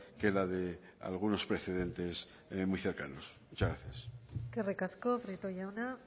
que la de algunos precedentes muy cercanos muchas gracias eskerrik asko prieto jauna